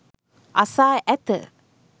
අසා ඇත.